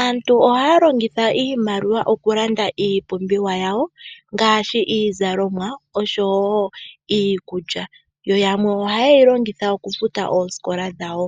Aantu ohaya longitha iimaliwa okulanda iipumbiwa yawo ngaashi iizalomwa oshowo iikulya yo yamwe ohaye yi longitha okufuta oosikola dhawo